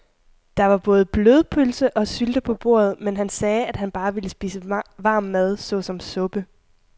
Der var både blodpølse og sylte på bordet, men han sagde, at han bare ville spise varm mad såsom suppe.